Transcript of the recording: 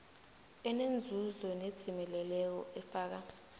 enenzuzo nedzimeleleko efaka